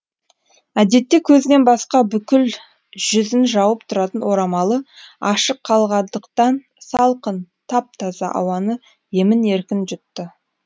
әдетте көзінен басқа бүкіл жүзін жауып тұратын орамалы ашық қалғандықтан салқын тап таза ауаны емін еркін жұтты